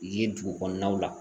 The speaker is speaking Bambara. Ye dugu kɔnɔnaw la